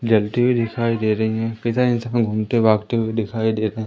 जल्ती हुए दिखाई दे रही है इंसान घूमते भागते हुए दिखाई दे रहे।